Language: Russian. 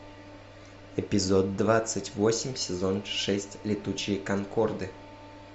эпизод двадцать восемь сезон шесть летучие конкорды